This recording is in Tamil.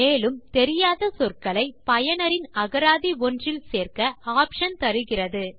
மேலும் தெரியாத சொற்களை பயனரின் அகராதி ஒன்றில் சேர்க்க ஆப்ஷன் தருகிறது